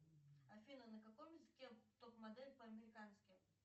афина на каком языке топ модель по американски